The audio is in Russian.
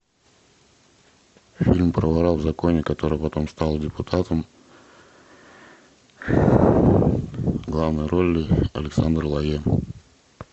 фильм про вора в законе который потом стал депутатом в главной роли александр лойе